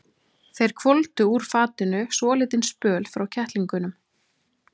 Þeir hvolfdu úr fatinu svolítinn spöl frá kettlingunum.